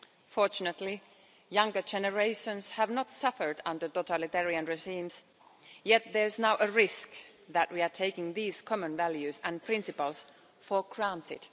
Fortunately, younger generations have not suffered under totalitarian regimes, yet there is now a risk that we are taking these common values and principles for granted.